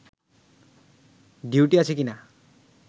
duty আছে কিনা